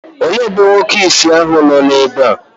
òle ebe onye-ìsì ahu nọ ebe a?